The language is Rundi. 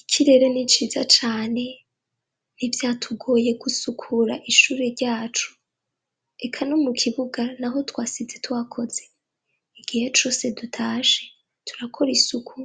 Ikirere ni ciza cane ntivyatugoye gusukura ishure ryacu, eka no mu kibuga n'aho twasize tuhakoze. Igihe cose dutashe turakora isuku